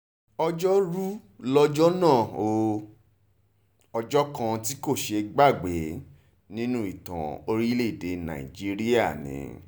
ọjọ́rùú lọ́jọ́ náà ó ọjọ́ kan tí kò ṣeé gbàgbé nínú ìtàn orílẹ̀-èdè nàìjíríà ni